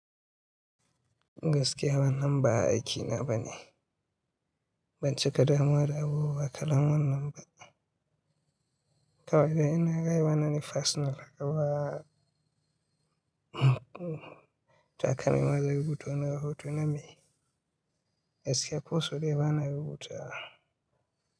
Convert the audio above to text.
Gaskiya wannan ba aiki na bane. Banci kada muware abu wa kalan wan nan ba. Kawai dai ina ga yi wannan personal haka ba, haka maza ya gudu wani hoto na mai. Yaushe ya koso daya bana rubutawa.